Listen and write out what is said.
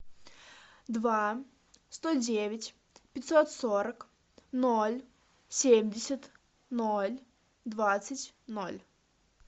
два сто девять пятьсот сорок ноль семьдесят ноль двадцать ноль